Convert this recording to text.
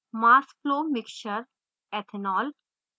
mass flow mixture/ethanol